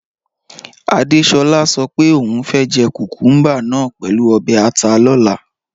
Adéṣolá sọ pé ọún fẹ́ jẹ́ kúkùmbà náà pẹ̀lú obè̩ àtà lọ̀là.